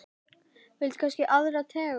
Viltu kannski aðra tegund?